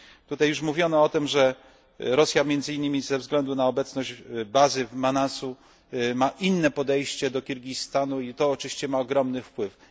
Tutaj mówiono już, że Rosja, między innymi ze względu na obecność bazy w Manasie, ma inne podejście do Kirgistanu i to oczywiście ma ogromny wpływ.